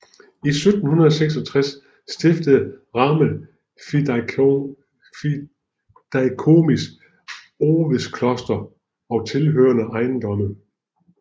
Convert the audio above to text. I 1766 stiftede Ramel fideikomis Övedskloster og tilhørende ejendomme